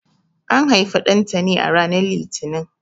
An haifi Ɗantani ranar Litini.